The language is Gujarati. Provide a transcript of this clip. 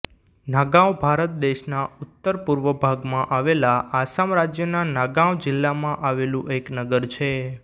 નાગાંવ ભારત દેશના ઉત્તર પૂર્વ ભાગમાં આવેલા આસામ રાજ્યના નાગાંવ જિલ્લામાં આવેલું એક નગર છે